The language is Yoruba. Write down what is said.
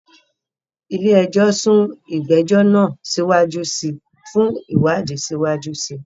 Ilé ẹjọ́ sún ìgbẹ́jọ́ náà síwájú sí i fún ìwádìí síwájú sí i.